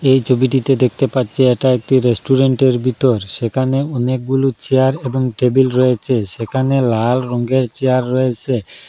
এই ছবিটিতে দেখতে পাচ্ছি এটা একটি রেস্টুরেন্টের বিতর সেখানে অনেকগুলো চেয়ার এবং টেবিল রয়েছে সেখানে লাল রঙের চেয়ার রয়েসে।